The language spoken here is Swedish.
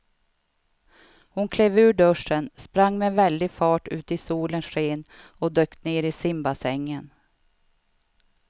Hon klev ur duschen, sprang med väldig fart ut i solens sken och dök ner i simbassängen.